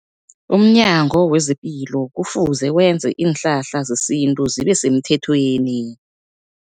UmNyango wezePilo kufuze wenze iinhlahla zesintu zibe semthethweni.